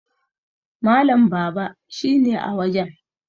Malam Baba shi ne a wajen